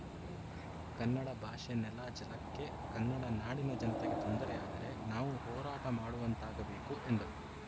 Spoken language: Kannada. ಕನ್ನಡ ಭಾಷೆ ನೆಲ ಜಲಕ್ಕೆ ಕನ್ನಡ ನಾಡಿನ ಜನತೆಗೆ ತೊಂದರೆಯಾದರೆ ನಾವು ಹೋರಾಟ ಮಾಡುವಂತಾಗಬೇಕು ಎಂದರು